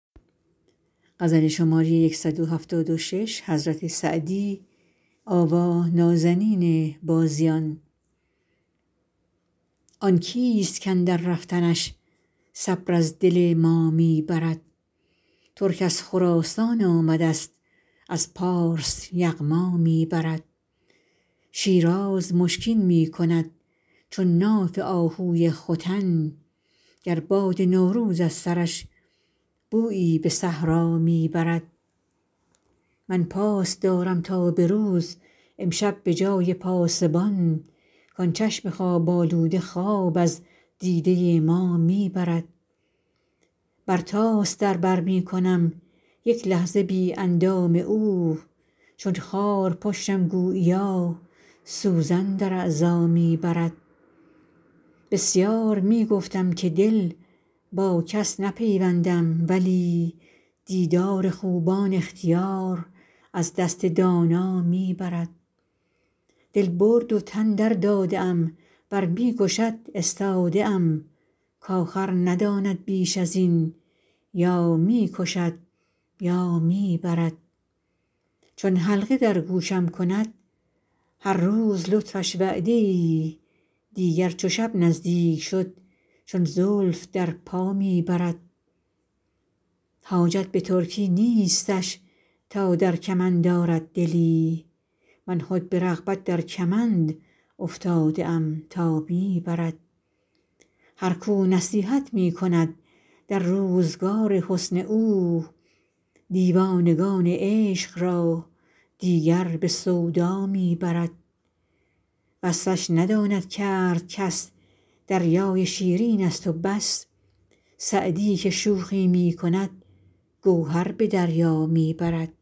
آن کیست کاندر رفتنش صبر از دل ما می برد ترک از خراسان آمدست از پارس یغما می برد شیراز مشکین می کند چون ناف آهوی ختن گر باد نوروز از سرش بویی به صحرا می برد من پاس دارم تا به روز امشب به جای پاسبان کان چشم خواب آلوده خواب از دیده ما می برد برتاس در بر می کنم یک لحظه بی اندام او چون خارپشتم گوییا سوزن در اعضا می برد بسیار می گفتم که دل با کس نپیوندم ولی دیدار خوبان اختیار از دست دانا می برد دل برد و تن درداده ام ور می کشد استاده ام کآخر نداند بیش از این یا می کشد یا می برد چون حلقه در گوشم کند هر روز لطفش وعده ای دیگر چو شب نزدیک شد چون زلف در پا می برد حاجت به ترکی نیستش تا در کمند آرد دلی من خود به رغبت در کمند افتاده ام تا می برد هر کو نصیحت می کند در روزگار حسن او دیوانگان عشق را دیگر به سودا می برد وصفش نداند کرد کس دریای شیرینست و بس سعدی که شوخی می کند گوهر به دریا می برد